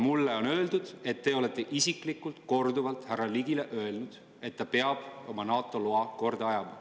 Mulle on öeldud, et te olete isiklikult korduvalt härra Ligile öelnud, et ta peab oma NATO‑loa korda ajama.